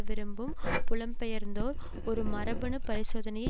விரும்பும் புலம்பெயர்ந்தோர் ஒரு மரபணு பரிசோதனையை